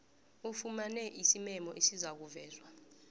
ufumane isimemo esizakuvezwa